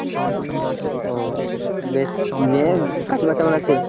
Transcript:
ও বেশ নিয়ে কাকিমা কেমন আছে?